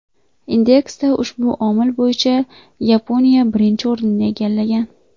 Indeksda ushbu omil bo‘yicha Yaponiya birinchi o‘rinni egallagan.